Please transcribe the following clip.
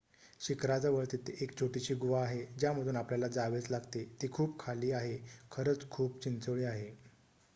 शिखराजवळ तिथे एक छोटीशी गुहा आहे ज्यामधून आपल्याला जावेच लागते ती खूप खाली आहे खरच खूप चिंचोळी आहे